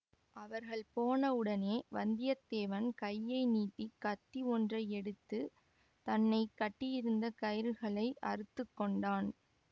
அவர்கள் போன உடனே வந்தியத்தேவன் கையை நீட்டி கத்தி ஒன்றை எடுத்து தன்னை கட்டியிருந்த கயிறுகளை அறுத்துக்கொண்டான்